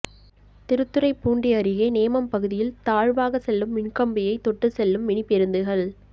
திருத்துறைப்பூண்டி அருகே நேமம் பகுதியில் தாழ்வாக செல்லும் மின்கம்பியை தொட்டு செல்லும் மினிபேருந்துகள்